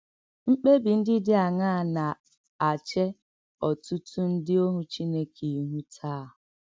Mkpèbì ǹdí dị̀ àṅàà nà-àchè ọ̀tùtù ǹdí òhù Chìnèké íhù tàá?